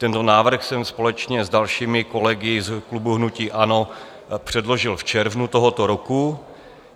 Tento návrh jsem společně s dalšími kolegy z klubu hnutí ANO předložil v červnu tohoto roku.